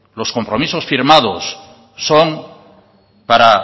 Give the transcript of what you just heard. los compromisos firmados son para